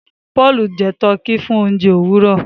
Paul jẹ Tọki fún oúnjẹ Òwúrọ